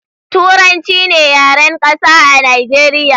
Turanci ne yaren Ƙasa a Nijeriya